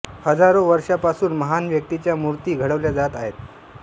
हजारो वर्षांपासून महान व्यक्तींच्या मूर्ती घडवल्या जात आहेत